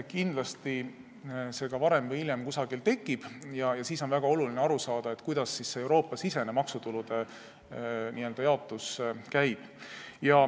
Kindlasti see varem või hiljem kusagil tekib ja siis on väga oluline aru saada, kuidas see Euroopa-sisene maksutulude jaotus käib.